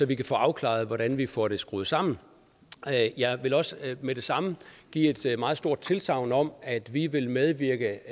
vi kan få afklaret hvordan vi får det skruet sammen jeg vil også med det samme give et meget stort tilsagn om at vi vil medvirke